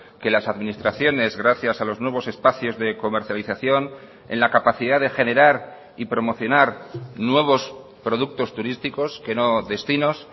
que las administraciones gracias a los nuevos espacios de comercialización en la capacidad de generar y promocionar nuevos productos turísticos que no destinos